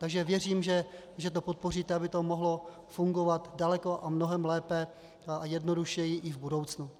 Takže věřím, že to podpoříte, aby to mohlo fungovat daleko a mnohem lépe a jednodušeji i v budoucnu.